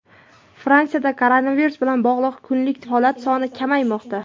Fransiyada koronavirus bilan bog‘liq kunlik holatlar soni kamaymoqda.